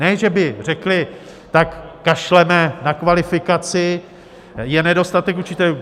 Ne že by řekli tak kašleme na kvalifikaci, je nedostatek učitelů.